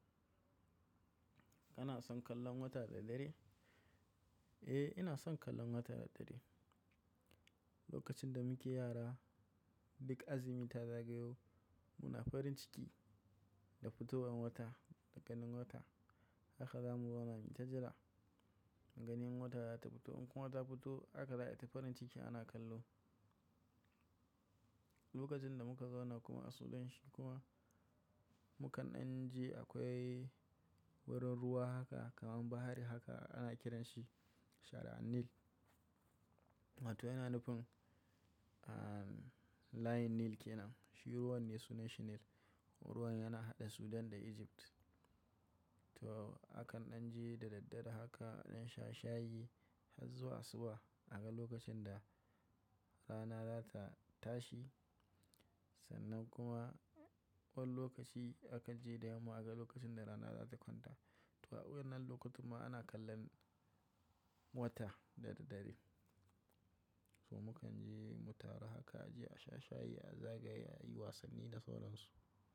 Kana son kallon wata da dare? Eh, ina son kallon wata da dare. Lokacin da muke yara, duk azumi ta zagayo, muna farin ciki da fitowan wata da ganin wata. Haka zamu zauna mu ta jira ganin wata za ta fito. In kuwa ta fito haka za a yi ta farin ciki ana kallo. Lokacin da muka zauna kuma a sudan shi kuma, mu kan dan je akwai wurin ruwa haka kaman bahari haka ana kiranshi Shara'an Nil. To yana nufin, ah, layin Nil kenan. Shi ruwan ne sunansa Nil, ruwan yana haɗe Sudan da Egypt. To akan an je da daddare haka adan sha shayi har zuwa asuba. A ga lokacin da rana za ta tashi sannan kuma wani lokaci akan je da yamma a ga lokacin da rana za ta kwanta. To a wannan lokuta ma ana kallon wata da daddare. To mu kan je mu taru haka a je a sha shayi, a zagaya, a yi wasanni da sauran su.